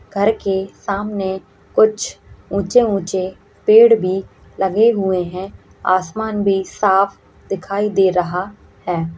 घर के सामने कुछ ऊँचे-ऊँचे पेड़ भी लगे हुए है आसमान भी साफ दिखाई दे रहा है।